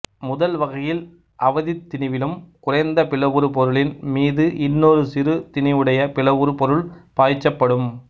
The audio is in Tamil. முதல் வகையில் அவதித் திணிவிலும் குறைந்த பிளவுறு பொருளின் மீது இன்னொரு சிறு திணிவுடைய பிளவுறு பொருள் பாய்ச்சப்படும்